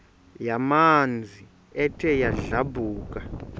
yamanzi ethe yadlabhuka